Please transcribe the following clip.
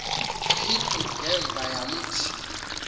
xhiphu ngemva yamthi